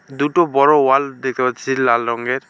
দুটো বড়ো ওয়াল দেখতে পাচ্ছি লাল রঙ্গের ।